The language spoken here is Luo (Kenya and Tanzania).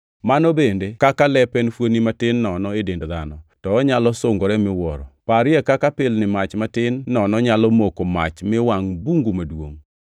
Mano bende kaka lep en fuoni matin nono e dend dhano, to onyalo sungore miwuoro. Parie kaka pilni mach matin nono nyalo moko mach mi wangʼ bungu maduongʼ!